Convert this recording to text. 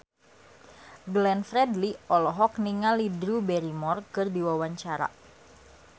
Glenn Fredly olohok ningali Drew Barrymore keur diwawancara